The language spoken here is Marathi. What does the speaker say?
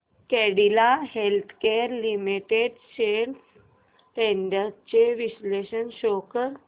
Cadila healthcare limited shares trends चे विश्लेषण शो कर